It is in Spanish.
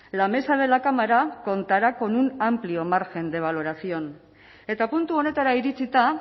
la mesa de la cámara contará con un amplio margen de valoración eta puntu honetara iritsita